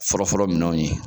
Forofɔlɔ minɛnw ye